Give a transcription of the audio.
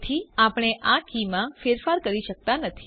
તેથી આપણે આ કીમાં ફેરફાર કરી શકતાં નથી